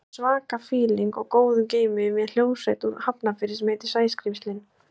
Ég var í svaka fíling og góðu geimi með hljómsveit úr Hafnarfirði sem heitir Sæskrímslin.